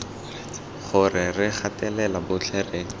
gore re gatelela botlhe re